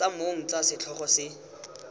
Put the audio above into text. tsa mong tsa setlhogo se